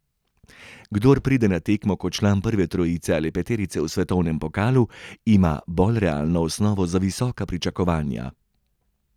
Kdor pride na tekmo kot član prve trojice ali peterice v svetovnem pokalu, ima bolj realno osnovo za visoka pričakovanja.